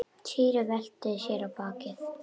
Týri velti sér á bakið.